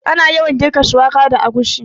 Ana yawan girka shuwaka da agushi